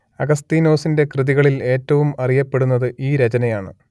അഗസ്തീനോസിന്റെ കൃതികളിൽ ഏറ്റവും അറിയപ്പെടുന്നത് ഈ രചനയാണ്